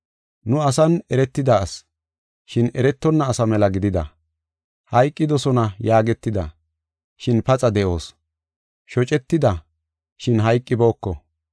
Nu asan eretida asi, shin eretonna asa mela gidida. Hayqidosona yaagetida, shin paxa de7oos; shocetida, shin hayqibooko.